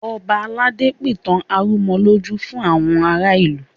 Ọba aládé pìtàn arúnmọlójú fún àwọn ará ìlú